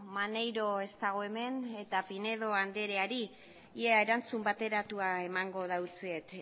maneiro ez dago hemen eta pinedo andreari ia erantzun bateratua emango dautzet